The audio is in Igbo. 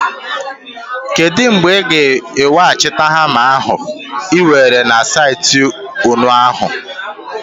Kedu mgbe ị ga-aga weghachite hama ahụ ị were na saịtị ụnyaahụ?